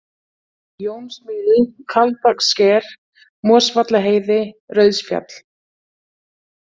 Jónsmýri, Kaldbakssker, Mosvallaheiði, Rauðsfjall